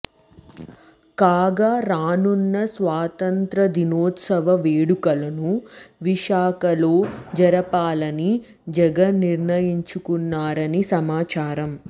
కాగా రానున్న స్వాతంత్య్రదినోత్సవ వేడుకలను విశాఖలో జరపాలని జగన్ నిర్ణయించుకున్నారని సమాచారం